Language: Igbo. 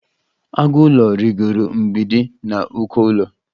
Agụ ụlọ rịgooro mgbidi na uko ụlọ.